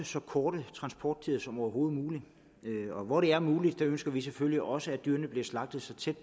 så korte transporttider som overhovedet muligt og hvor det er muligt ønsker vi selvfølgelig også at dyrene bliver slagtet så tæt